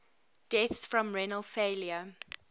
deaths from renal failure